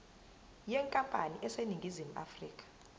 yenkampani eseningizimu afrika